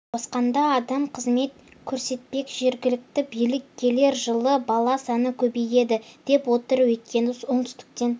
қосқанда адам қызмет көрсетпек жергілікті билік келер жылы бала саны көбейеді деп отыр өйткені оңтүстіктен